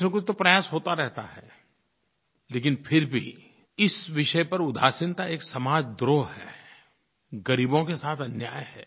कुछनकुछ तो प्रयास होता रहता है लेकिन फिर भी इस विषय पर उदासीनता एक समाजद्रोह है ग़रीबों के साथ अन्याय है